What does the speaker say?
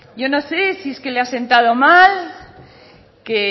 yo no sé si es que le ha sentado mal que